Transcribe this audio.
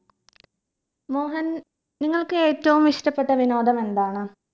മോഹൻ നിങ്ങൾക്ക് ഏറ്റവും ഇഷ്ടപെട്ട വിനോദം എന്താണ്